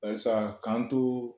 Bayisa k'an too